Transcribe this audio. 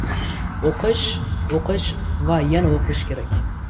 O‘qish, o‘qish va yana o‘qish kerak!